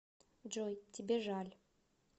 джой тебе жаль